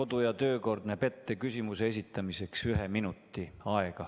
Kodu- ja töökord näeb küsimuse esitamiseks ette ühe minuti.